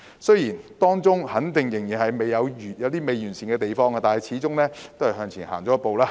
雖然當中肯定仍有未完善的地方，但始終是向前踏出一步。